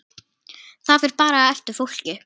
Það fer bara eftir fólki.